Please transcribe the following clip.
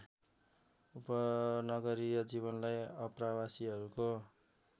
उपनगरीय जीवनलाई आप्रवासीहरूको